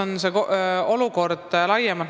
Milline on see olukord laiemalt?